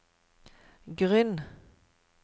grunn